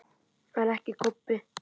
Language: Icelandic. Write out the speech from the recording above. En ekki Kobbi.